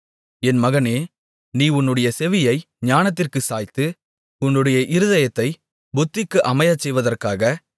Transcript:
என் மகனே நீ உன்னுடைய செவியை ஞானத்திற்குச் சாய்த்து உன்னுடைய இருதயத்தைப் புத்திக்கு அமையச்செய்வதற்காக